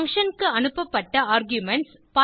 function க்கு அனுப்பப்பட்ட arguments